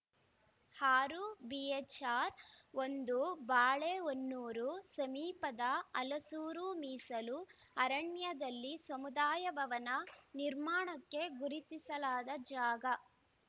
ಆರು ಬಿಹೆಚ್‌ಆರ್‌ ಒಂದು ಬಾಳೆಹೊನ್ನೂರು ಸಮೀಪದ ಹಲಸೂರು ಮೀಸಲು ಅರಣ್ಯದಲ್ಲಿ ಸಮುದಾಯ ಭವನ ನಿರ್ಮಾಣಕ್ಕೆ ಗುರುತಿಸಲಾದ ಜಾಗ